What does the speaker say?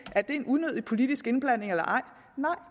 er det en unødig politisk indblanding nej